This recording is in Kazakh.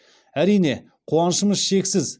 әрине қуанышымыз шексіз